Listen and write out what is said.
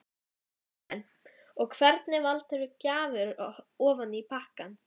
Karen: Og hvernig valdirðu gjafir ofan í pakkann?